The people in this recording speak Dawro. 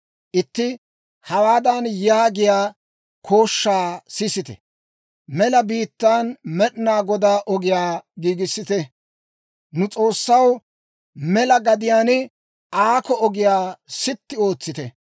Itti hawaadan yaagiyaa kooshshaa sisettee; «Mela biittaan Med'inaa Godaa ogiyaa giigissite; nu S'oossaw mela gadiyaan aakko ogiyaa sitti ootsite.